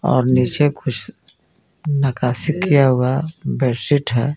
और नीचे कुछ नक्काशी किया हुआ बेडशीट है।